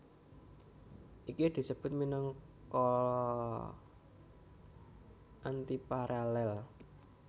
Iki disebut minangka antiparalel